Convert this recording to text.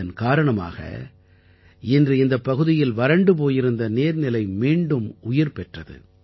இதன் காரணமாக இன்று இந்தப் பகுதியில் வறண்டு போயிருந்த நீர்நிலை மீண்டும் உயிர் பெற்றது